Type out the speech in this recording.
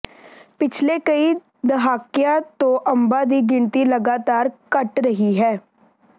ਪਿਛਲੇ ਕਈ ਦਹਾਕਿਆਂ ਤੋਂ ਅੰਬਾਂ ਦੀ ਗਿਣਤੀ ਲਗਾਤਾਰ ਘਟ ਰਹੀ ਹੈ